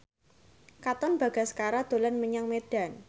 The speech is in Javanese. Katon Bagaskara dolan menyang Medan